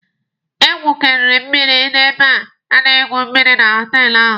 Egwukwere mmịrị n'ebe a na-egwu mmịrị na họtelụ ahụ!